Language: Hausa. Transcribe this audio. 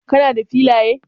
Kuma da filaya?